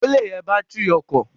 Ó le rẹ bátìrì ọkọ̀.